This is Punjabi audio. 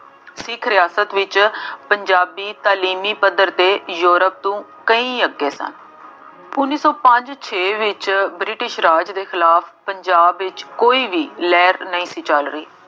ਸਿੱਖ ਰਿਆਸਤ ਵਿੱਚ ਪੰਜਾਬੀ ਤਾਲੀਮੀ ਪੱਧਰ ਤੇ ਯੂਰੋਪ ਤੋਂ ਕਈ ਅੱਗੇ ਸਨ। ਉੱਨੀ ਸੌ ਪੰਜ ਛੇ ਵਿੱਚ ਬ੍ਰਿਟਿਸ਼ ਰਾਜ ਦੇ ਖਿਲਾਫ ਪੰਜਾਬ ਵਿੱਚ ਕੋਈ ਵੀ ਲਹਿਰ ਨਹੀਂ ਸੀ ਚੱਲ ਰਹੀ।